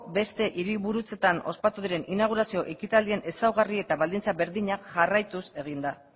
beste hiriburutzetan ospatu diren inaugurazio ekitaldien ezaugarri eta baldintza berdinak jarraituz egin da